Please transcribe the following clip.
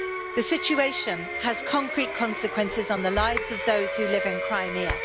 The situation has concrete consequences on the lives of those who live in Crimea.